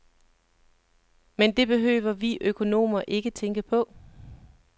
Men det behøver vi økonomer ikke tænke på.